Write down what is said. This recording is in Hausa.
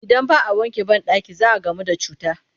Idan ba a wanke banɗaki za a gamu da cuta